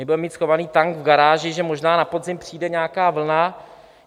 My budeme mít schovaný tank v garáži, že možná na podzim přijde nějaká vlna.